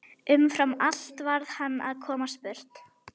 Umfram allt varð hann að komast burt.